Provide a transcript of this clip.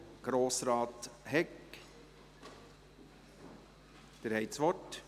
Grossrat Hegg, Sie haben das Wort.